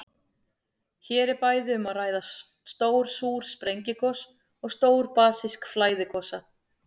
Hér er bæði um að ræða stór súr sprengigos og stór basísk flæðigosa.